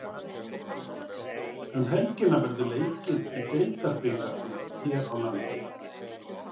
Um helgina verður leikið í Deildabikarnum hér landi.